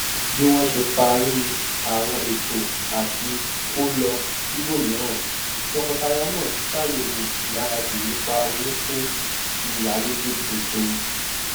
bí wọn sé parí àwọn ètò àtí kó lọ sibomiran tọkọtaya náà ṣàyẹwò ìgbáradì nípá owó fún ìyálegbé tuntun